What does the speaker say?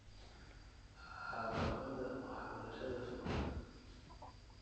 Caqabadda waxbarashada fog